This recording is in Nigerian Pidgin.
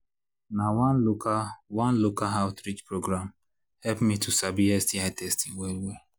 na one local one local outreach program help me to sabi sti testing well well